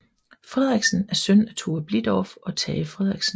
Frederiksen er søn af Tove Blidorf og Tage Frederiksen